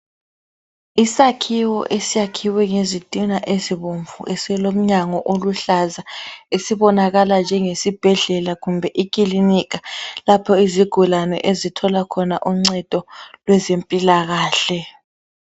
Isakhiwo esakhiwe ngezitina ezibomvu esilomnyango oluhlaza esibonakala njengesibhedlela kumbe ikilinika lapho izigulane ezithola khona uncedo kwezempilakahle.